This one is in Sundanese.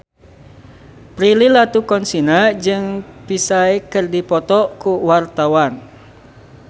Prilly Latuconsina jeung Psy keur dipoto ku wartawan